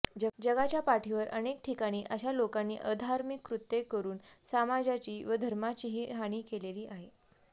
जगाच्या पाठीवर अनेक ठिकाणी अशा लोकांनी अधार्मिक कृत्ये करून समाजाची व धर्माचीही हानी केलेली आहे